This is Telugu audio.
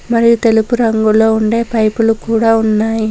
మరియు తెలుపు రంగులో ఉండే పైపులు కూడా ఉన్నాయ్.